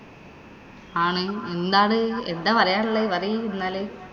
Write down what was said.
ആണ് എന്താത്? എന്താ പറയാ ഉള്ളേ? പറയ്‌ എന്നാല്.